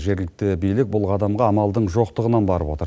жергілікті билік бұл қадамға амалдың жоқтығынан барып отыр